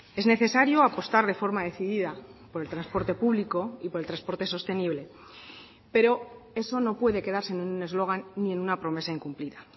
es necesario apostar de forma decidida por el transporte público y por el transporte sostenible pero eso no puede quedarse en un eslogan ni en una promesa incumplida